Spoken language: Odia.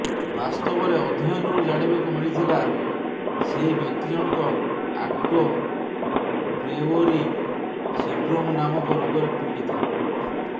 ବାସ୍ତବରେ ଅଧ୍ୟୟନରୁ ଜାଣିବାକୁ ମିଳିଥିଲା ସେହି ବ୍ୟକ୍ତି ଜଣକ ଆଟୋ ବ୍ରେଓ୍ବରୀ ସିଡ୍ରୋମ ନାମକ ରୋଗରେ ପିଡୀତ